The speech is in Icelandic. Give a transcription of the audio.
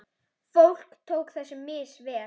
Fólk tók þessu misvel.